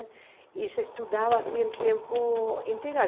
E se estudava assim em tempo integral.